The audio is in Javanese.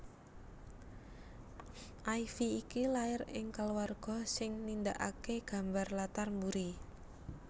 Ify iki lair ing kulawarga sing nindakake gambar latar mburi